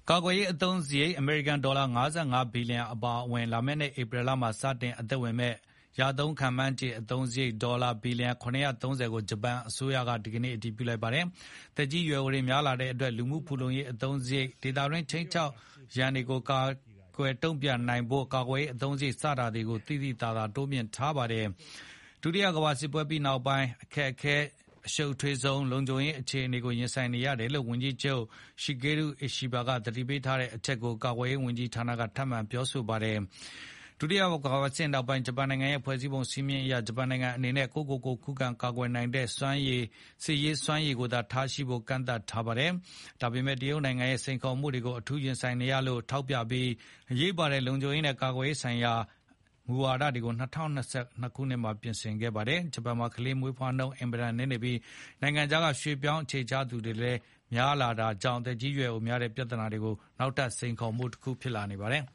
ကာကွယ်ရေးအသုံးစရိတ် အမေရိကန်ဒေါ်လာ ၅၅ ဘီလီယံအပါအဝင် လာမယ့်နှစ် ဧပြီလမှာ စတင် အသက်ဝင်မယ့် ရသုံးမှန်းခြေအသုံးစရိတ် ဒေါ်လာ ဘီလျံ ၇၃၀ ကို ဂျပန်အစိုးရက အတည်ပြု လိုက်တာ ဖြစ်ပါတယ်။ သက်ကြီးရွယ်အိုတွေများလာတဲ့အတွက် လူမှုဖူလုံရေးအသုံးစရိတ်၊ ဒေသတွင်း ခြိမ်းခြောက်ရန်တွေကို ကိုင်တွယ်တုံ့ပြန်ဖို့ ကာကွယ်ရေးအသုံးစရိတ် စတာတွေကို သိသိသာသာ တိုးမြှင့်ထားပါတယ်။ ဒုတိယကမ္ဘာစစ်ပွဲပြီးနောက်ပိုင်း အခက်ခဲ၊ အရှုပ်ထွေးဆုံး လုံခြုံရေးအခြေအနေ ရင်ဆိုင်နေရတယ်လို့ ဝန်ကြီးချုပ် Shigeru Ishiba သတိပေးထားတဲ့အချက်ကို ကာကွယ်ရေးဝန်ကြီးဌာနကလည်း ထပ်မံသတိပေး ပြောကြားခဲ့ပါတယ်။ဒုတိယကမ္ဘာစစ်နောက်ပိုင်း ဂျပန်နိုင်ငံရဲ့ဖွဲ့စည်းပုံစည်းမျဉ်းအရ ဂျပန်နိုင်ငံအနေနဲ့ ကိုယ့်ကိုကိုယ် ခုခံကာကွယ်နိုင်တဲ့ စစ်ရေးစွမ်းရည်သာထားရှိဖို့ ကန့်သတ်ထားတာပါ။ ဒါပေမဲ့ တရုတ်နိုင်ငံရဲ့ စိန်ခေါ်မှုတွေကို အထူးရင်ဆိုင်နေရတယ်လို့ ထောက်ပြပြီး အရေးပါတဲ့ လုံခြုံရေးနဲ့ ကာကွယ်ရေးဆိုင်ရာ အရေးပါတဲ့ မူဝါဒတွေကို ၂၀၂၂ ခုနှစ်မှာ ပြင်ဆင်ခဲ့ပါတယ်။ ဂျပန်မှာ ကလေးမွေးဖွားနှုန်း အင်မတန်နည်းနေပြီး နိုင်ငံခြားက ရွှေ့ပြောင်းအခြေချသူတွေကိုလည်း အင်မတန်သတိထားလက်ခံနေတာကြောင့် သက်ကြီးရွယ်အိုများလာတဲ့ ပြဿနာကလည်း နောက်ထပ် စိန်ခေါ်မှုတခုဖြစ်နေပါတယ်